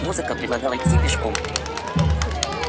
музыка предлагала идти пешком